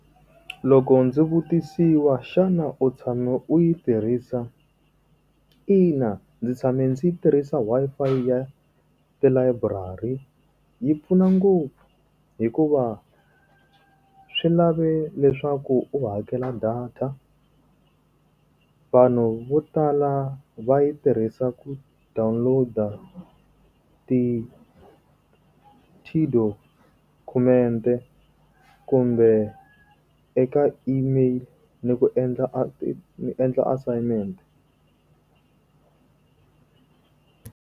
Loko ndzi vutisiwa xana u tshame u yi tirhisa? Ina ndzi tshame ndzi tirhisa Wi-Fi ya le library. Yi pfuna ngopfu, hikuva swi lave leswaku u hakela data. Vanhu vo tala va yi tirhisa ku download tidokhumente kumbe eka email ni ku endla endla assignment.